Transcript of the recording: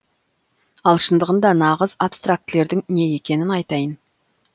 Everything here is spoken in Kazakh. ал шындығында нағыз абстрактілердің не екенін айтайын